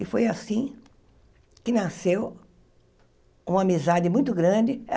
E foi assim que nasceu uma amizade muito grande.